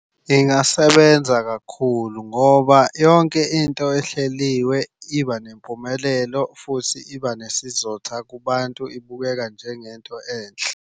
Ingasebenza kakhulu ngoba yonke into ehleliwe iba nempumelelo, futhi iba nesizotha kubantu ibukeka njengento enhle.